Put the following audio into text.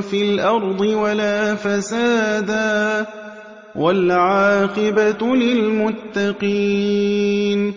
فِي الْأَرْضِ وَلَا فَسَادًا ۚ وَالْعَاقِبَةُ لِلْمُتَّقِينَ